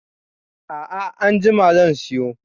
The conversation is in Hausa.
A'a anjima zan siyo.